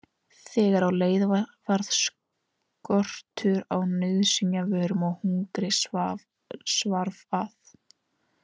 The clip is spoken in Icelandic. Þegar á leið varð skortur á nauðsynjavörum og hungrið svarf að.